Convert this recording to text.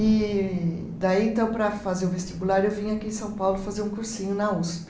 E daí, então, para fazer o vestibular, eu vim aqui em São Paulo fazer um cursinho na Usp.